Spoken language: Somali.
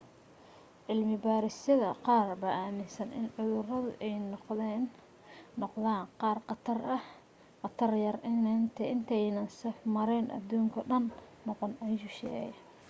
cilmi baadhisyada qaar baa aaminsan in cuduradu ay noqdaan qaar khatar yar intaanay safmareen aduunkoo dhan ah noqon ayuu sheegay